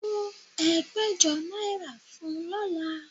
Kó ẹgbẹ̀jọ náírà fún un lọ́la